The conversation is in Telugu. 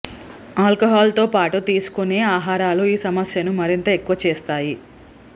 ఆల్కహాల్ తో పాటు తీసుకొనే ఆహారాలు ఈ సమస్యను మరింత ఎక్కువ చేస్తాయి